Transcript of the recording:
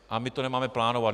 A my to nemáme plánovat.